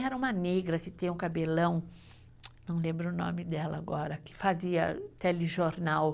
Era uma negra que tem um cabelão, não lembro o nome dela agora, que fazia telejornal.